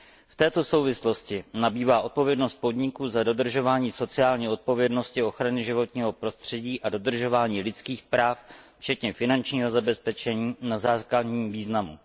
V této souvislosti nabývá odpovědnost podniků za dodržování sociální odpovědnosti, ochrany životního prostředí a dodržování lidských práv, včetně finančního zabezpečení, na základním významu.